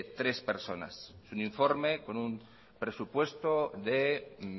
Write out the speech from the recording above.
tres personas es un informe con un presupuesto de